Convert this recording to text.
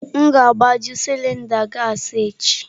M ga-agbaju cilinda gassi echi.